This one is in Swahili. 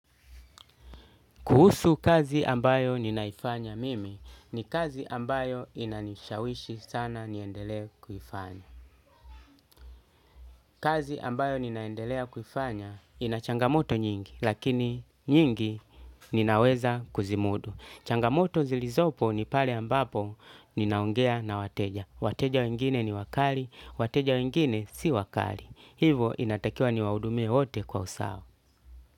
Kuhusu kazi ambayo ninaifanya mimi ni kazi ambayo inanishawishi sana niendelee kuifanya. Kazi ambayo ninaendelea kufanya ina changamoto nyingi lakini nyingi ninaweza kuzimudu. Changamoto zilizopo ni pale ambapo ninaongea na wateja. Wateja wengine ni wakali, wateja wengine si wakali. Hivyo inatakiwa niwahudumie wote kwa usawa.